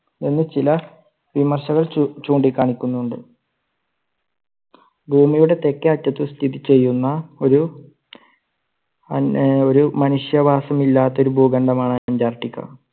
എന്ന് ചില വിമർശകർ ചൂ~ചൂണ്ടി കാണിക്കുന്നുണ്ട്. ഭൂമിയുടെ തെക്കേ അറ്റത്ത് സ്ഥിതി ചെയ്യുന്ന ഒരു ഒരു മനുഷ്യവാസമില്ലാത്ത ഒരു ഭൂഖണ്ഡമാണ് അന്റാർട്ടിക്ക.